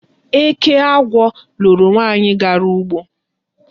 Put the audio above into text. Eke agwọ loro nwaanyị gara ugbo.